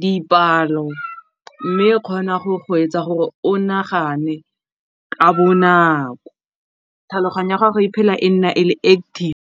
dipalo mme kgona go go etsa gore o nagane ka bonako, tlhaloganyo ya gago e phela e nna e le .